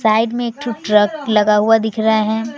Side में एक ठो ट्रक लगा हुआ दिख रहा है।